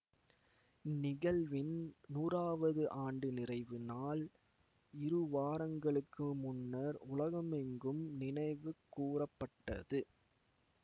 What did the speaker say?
இந்நிகழ்வின் நூறாவது ஆண்டு நிறைவு நாள் இருவாரங்களுக்கு முன்னர் உலகமெங்கும் நினைவு கூர பட்டது